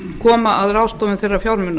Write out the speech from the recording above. koma að ráðstöfun þeirra fjármuna